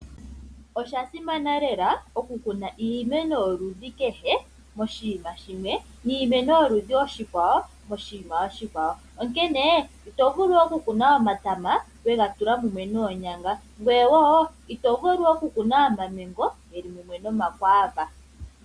Osha simana lela okukuna iimeno yoludhi kehe moshinima shimwe, niimeno yoludhi oshikwawo moshinima oshikwawo. Onkene ito vulu okukuna omatama wegatula mumwe noonyanga, ngweye woo ito vulu okukuna omamengo geli mumwe nomakwaava.